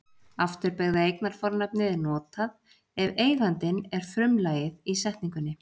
afturbeygða eignarfornafnið er notað ef eigandinn er frumlagið í setningu